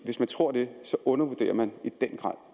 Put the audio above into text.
hvis man tror det undervurderer man i den grad